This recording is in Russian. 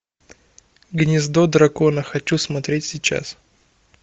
гнездо дракона хочу смотреть сейчас